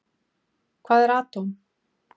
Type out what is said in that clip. Hvað eru atóm?